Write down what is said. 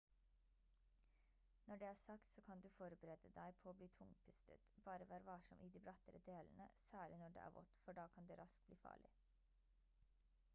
når det er sagt så kan du forberede deg på å bli tungpustet bare vær varsom i de brattere delene særlig når det er vått for da kan det raskt bli farlig